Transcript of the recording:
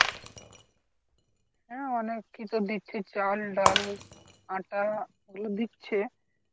হ্যাঁ অনেক কিছু দিচ্ছে চাল ডাল আটা দিচ্ছে